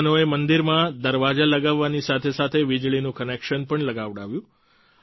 યુવાનોએ મંદિરમાં દરવાજા લગાવવાની સાથે સાથે વીજળીનું કનેક્શન પણ લગાવડાવ્યું